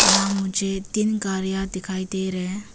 यहां मुझे तीन गाड़ियां दिखाई दे रहे हैं।